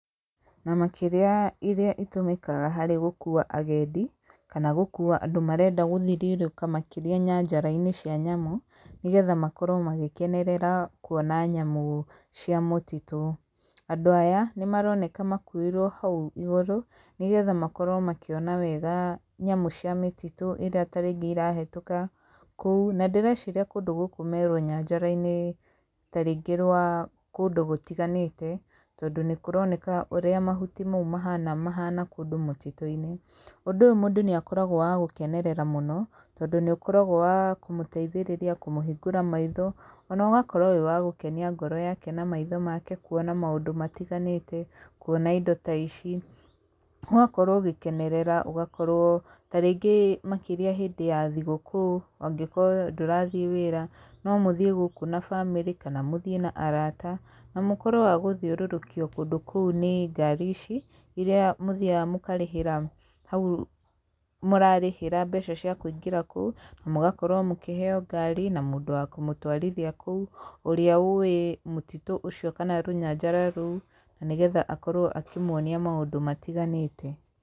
Na makĩria irĩa itũmĩkaga harĩ gũkuua agendi, kana gũkuua andũ marenda gũthiririũka makĩria nyanjara-inĩ cia nyamũ, nĩgetha makorwo magĩkenerera kuona nyamũ cia mũtitũ. Andũ aya, nĩ maroneka makuĩirwo hau igũrũ, nĩgetha makorwo makĩona wega nyamũ cia mĩtitũ, ĩrĩa ta rĩngĩ ĩrahetũka kũu. Na ndĩreciria kũndũ gũkũ me rũnyanjara-inĩ tarĩngĩ rwa kũndũ gũtiganĩte, tondũ nĩ kũroneka ũrĩa mahuti mau mahana mahana kũndũ mũtitũ-inĩ. Ũndũ ũyũ mũndũ nĩ akoragwo wa gũkenerera mũno, tondũ nĩ ũkoragwo wa kũmũteithĩrĩria, kũmũhingũra maitho. Ona ũgakorwo wĩ wa gũkenia ngoro yake na maitho make kuona maũndũ matiganĩte, kuona indo ta ici. Ũgakorwo ũgĩkenerera, ũgakorwo tarĩngĩ makĩria hĩndĩ ya thigũkũũ, angĩkorwo ndũrathiĩ wĩra, no mũthiĩ gũkũ na bamĩrĩ, kana mũthiĩ na arata. Na mũkorwo a gũthiũrũrũkio kũndũ kũu nĩ ngari ici, irĩa mũthiaga mũkarĩhĩra hau mũrarĩhĩra mbeca cia kũingĩra kũu, na mũgakorwo mũkĩheyo ngari, na mũndũ wa kũmũtwarithia kũu, ũrĩa ũwĩ mũtitũ ũcio, kana rũnyanjara rũu, na nĩgetha akorwo akĩmuonia maũndũ matiganĩte.